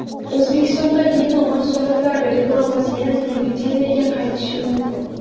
O‘zbekistonda vino mahsulotlari reklamasi yana televideniyega qaytishi mumkin.